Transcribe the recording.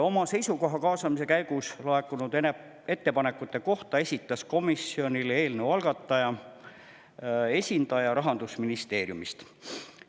Oma seisukoha kaasamise käigus laekunud ettepanekute kohta esitas komisjonile eelnõu algataja esindaja Rahandusministeeriumist.